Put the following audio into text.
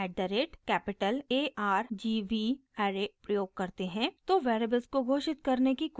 जब at the rate capital a r g v array प्रयोग करते हैं तो वेरिएबल्स को घोषित करने की कोई ज़रुरत नहीं होती है